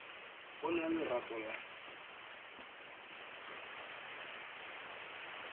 go na le lerato la